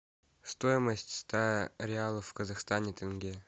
стоимость ста реалов в казахстане тенге